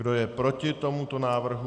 Kdo je proti tomuto návrhu?